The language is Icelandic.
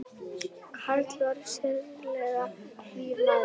Karl var sérlega hlýr maður.